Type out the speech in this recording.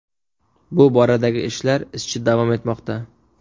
Bu boradagi ishlar izchil davom etmoqda.